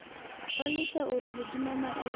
ba le taolo hodima maemo